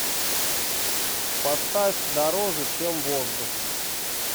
поставь дороже чем воздух